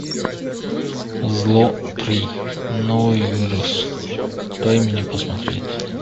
зло три новый вирус дай мне посмотреть